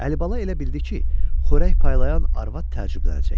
Əlibala elə bildi ki, xörək paylayan arvad təəccüblənəcək.